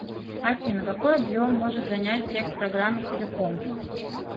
афина какой объем может занять текст программы целиком